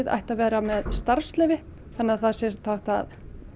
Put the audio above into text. ættu að vera með starfsleyfi þannig að það sé hægt að